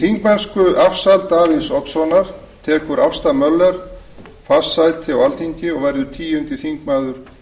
þingmennskuafsal davíðs oddssonar tekur ásta möller fast sæti á alþingi og verður tíundi þingmaður